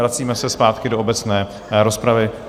Vracíme se zpátky do obecné rozpravy.